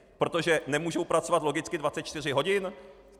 Protože nemůžou pracovat logicky 24 hodin?